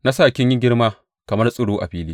Na sa kin yi girma kamar tsiro a fili.